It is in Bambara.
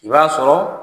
I b'a sɔrɔ